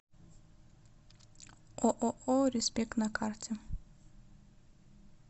ооо респект на карте